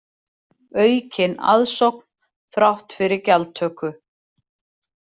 Aukin aðsókn þrátt fyrir gjaldtöku